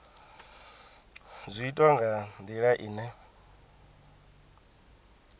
zwi itwa nga ndila ine